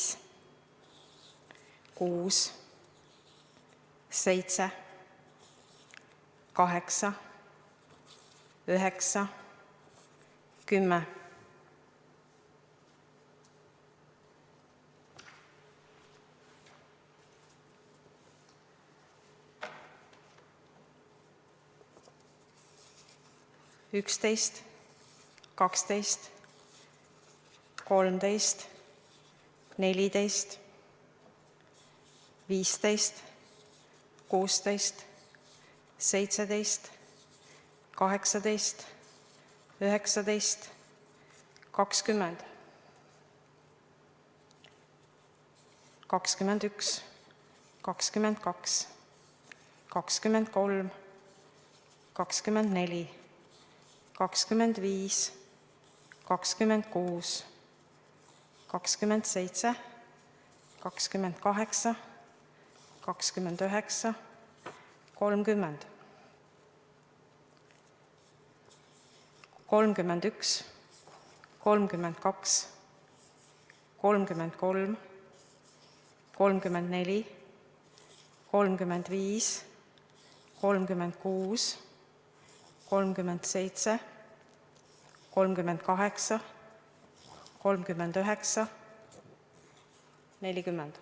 Siim Kallas: 1, 2, 3, 4, 5, 6, 7, 8, 9, 10, 11, 12, 13, 14, 15, 16, 17, 18, 19, 20, 21, 22, 23, 24, 25, 26, 27, 28, 29, 30, 31, 32, 33, 34, 35, 36, 37, 38, 39, 40.